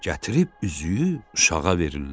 Gətirib üzüyü uşağa verirlər.